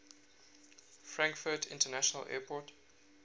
frankfurt international airport